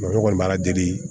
ne kɔni b'a ala deli